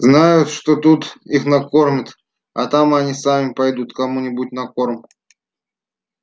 знают что тут их накормят а там они сами пойдут кому нибудь на корм